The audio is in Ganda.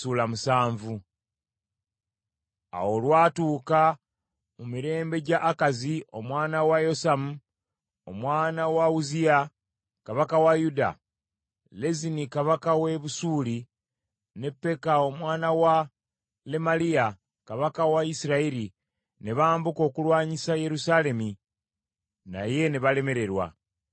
Awo olwatuuka mu mirembe gya Akazi omwana wa Yosamu, omwana wa Uzziya, kabaka wa Yuda, Lezini kabaka w’e Busuuli, ne Peka omwana wa Lemaliya, kabaka wa Isirayiri ne bambuka okulwanyisa Yerusaalemi naye ne balemererwa.